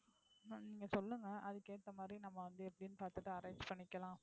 என்னனு நீங்க சொல்லுங்க. அதுக்கு ஏத்த மாதிரி நம்ம வந்து எப்படின்னு பாத்துட்டு arrange பண்ணிக்கலாம்.